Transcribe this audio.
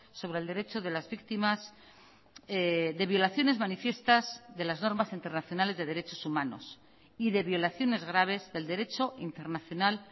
sobre el derecho de las víctimas de violaciones manifiestas de las normas internacionales de derechos humanos y de violaciones graves del derecho internacional